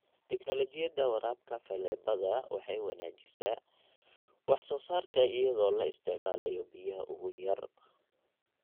Tiknoolajiyada waraabka faleebada waxay wanaajisaa wax soo saarka iyadoo la isticmaalayo biyaha ugu yar.